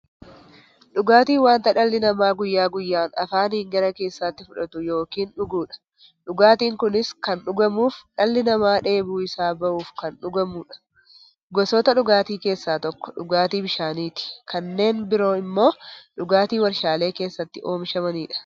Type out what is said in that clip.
Dhugaatiin wanta dhalli namaa guyyaa guyyaan afaanin gara keessaatti fudhatu yookiin dhuguudha. Dhugaatiin kunis kan dhugamuuf, dhalli namaa dheebuu isaa bahuuf kan dhugamuudha. Gosoota dhugaatii keessaa tokko dhugaatii bishaaniti. Kanneen biroo immoo dhugaatii waarshalee keessatti oomishamaniidha.